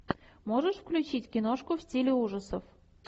можешь включить киношку в стиле ужасов